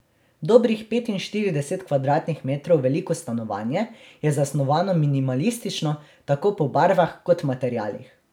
Dobrih petinštirideset kvadratnih metrov veliko stanovanje je zasnovano minimalistično, tako po barvah kot materialih.